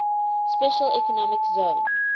special economic zone